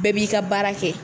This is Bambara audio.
Bɛɛ b'i ka baara kɛ